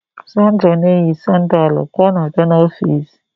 Sandra na-eyi sandaalu ka ọ bịa n'ọfịs